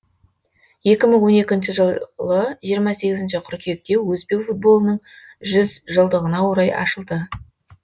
екі мың он екінші жылы жиырма сегізінші қыркүйекте өзбек футболының жүз жылдығына орай ашылды